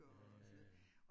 Ja